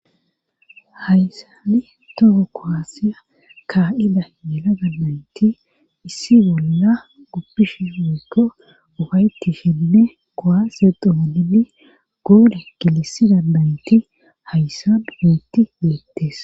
hayssani toko kowaasiya kaa7ida yela gabaynti issi bolla goppishi hoykko ufayti shenne kowase donini goode kilisi dadaynti hayssa dubuyti beettes